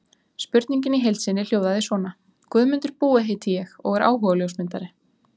Spurningin í heild sinni hljóðaði svona: Guðmundur Búi heiti ég og er áhugaljósmyndari.